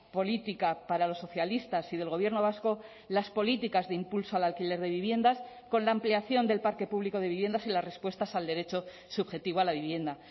política para los socialistas y del gobierno vasco las políticas de impulso al alquiler de viviendas con la ampliación del parque público de viviendas y las respuestas al derecho subjetivo a la vivienda